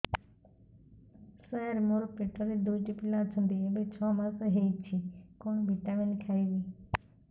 ସାର ମୋର ପେଟରେ ଦୁଇଟି ପିଲା ଅଛନ୍ତି ଏବେ ଛଅ ମାସ ହେଇଛି କଣ ଭିଟାମିନ ଖାଇବି